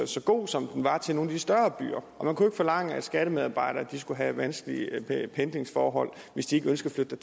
så god som den var til nogle af de større byer og man kunne ikke forlange at skattemedarbejdere skulle have vanskelige pendlingsforhold hvis de ikke ønskede at